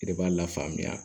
I yɛrɛ b'a la faamuya